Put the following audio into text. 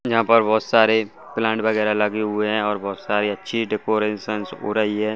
यहाँ पर बहुत सारे प्लांट वगैरा लगे हुए हैं और बहुत सारे अच्छी डेकोरेशन हो रही है।